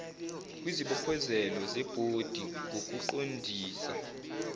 kwizibophezelo zebhodi ngokuqondisa